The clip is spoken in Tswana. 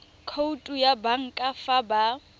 khoutu ya banka fa ba